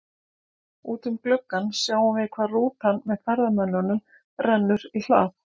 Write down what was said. Út um gluggann sjáum við hvar rútan með ferðamönnunum rennur í hlað.